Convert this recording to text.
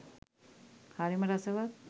හරිම රසවත්